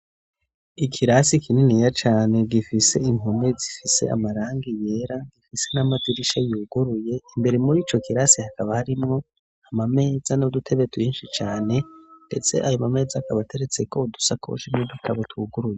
Ikirasi kininiya cane gifise impome zifise amarangi yera, gifise n'amadirisha yuguruye, imbere muri ico kirasi hakaba harimwo amameza n'udutebe twinshi cane, ndetse ayo ma meza akaba ateretseko udusakoshi n'udukaba twuguruye.